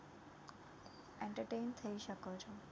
Entertain થઈ શકો છો